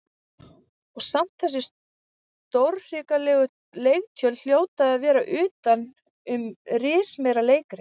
Og samt þessi stórhrikalegu leiktjöld hljóta að vera utan um rismeira leikrit.